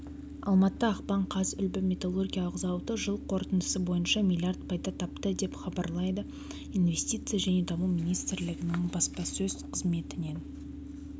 алматы ақпан қаз үлбі металлургиялық зауыты жыл қорытындысы бойынша млрд пайда тапты деп хзабарлады инвестиция және даму министрлігінің баспасөз қызметінен